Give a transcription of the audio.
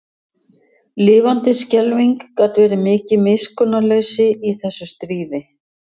Lifandis skelfing gat verið mikið miskunnarleysi í þessu stríði.